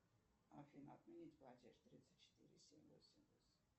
афина отменить платеж тридцать четыре семь восемь восемь